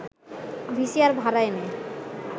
VCR ভাড়া এনে